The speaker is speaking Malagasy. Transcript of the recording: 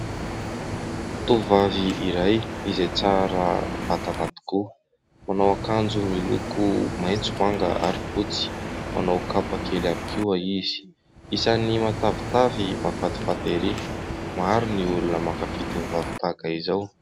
Tovovavy iray izay tsara vatana tokoa manao akanjo miloko maitso, manga ary fotsy manao kapa kely ihany koa izy, isany matavitavy mahafatifaty ery, maro ny olona mankafy tovovavy tahaka izao.